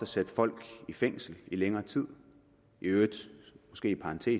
sætte folk i fængsel i længere tid i øvrigt